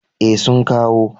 E, sun kawo.